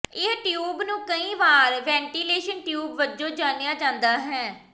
ਇਹ ਟਿਊਬ ਨੂੰ ਕਈ ਵਾਰ ਵੈਂਟੀਲੇਸ਼ਨ ਟਿਊਬ ਵਜੋਂ ਜਾਣਿਆ ਜਾਂਦਾ ਹੈ